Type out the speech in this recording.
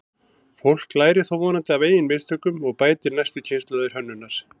Fólk lærir þó vonandi af eigin mistökum og bætir næstu kynslóð hönnunar.